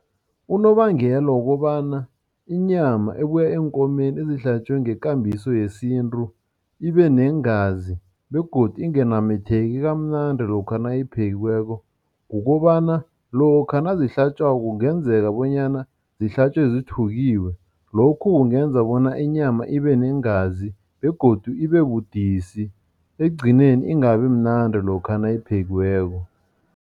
Unobangela wokobana inyama ebuya eenkomeni ezihlatjwe ngekambiso yesintu ibeneengazi begodu inganambitheki kamnandi lokha nayiphekiweko kukobana lokha nazihlatjwako kungenzeka bonyana zihlatjwe zithukiwe, lokhu kungenza bona inyama ibeneengazi begodu ibebudisi, ekugcineni ingabimnandi lokha nayiphekiweko.